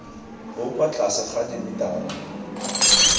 bo kwa tlase ga dimetara